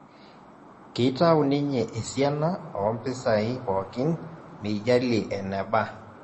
Kitau ninye esiana ompisai pookin meijalie enaba